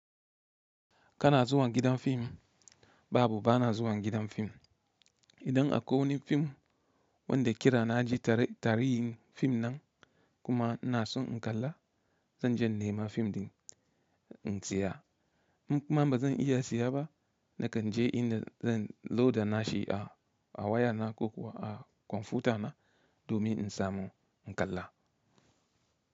Kana zuwa gidan fim? Babu, bana zuwa gidan fim. Idan akwai wani fim wanda kira na ji tarihin fim nan kuma ina son in kalla, zan je in nema fim din in saya. In kuma ba zan iya siya ba, nakan je inda zan loda nashi a waya na ko kuwa a kwamfuyuta na domin in samu in kalla.